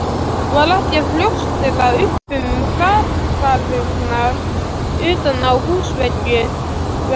Var ekkert að ljóstra upp um hrakfarirnar utan á húsveggnum.